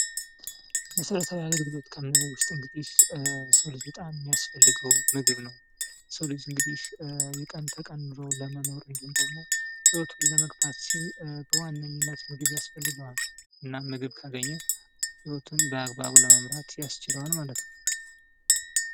መሰረታዊ አገልግሎት ከምንለው ውስጥ እንግዲህ የሰው ልጅ በጣም ሚያስፈልገው ምግብ ነው ።የሰው ልጅ እንግዲህ የቀን ተቀን ኑሮውን ለመኖር እንዲሁም ደግሞ ህይወቱን ለመግፋት ሲል በዋነኝነት ምግብ ያስፈልገዋል እናም ምግብ ካገኝ ህይወቱን በአግባቡ ለመምራት ያስችለዋል ማለት ነው ።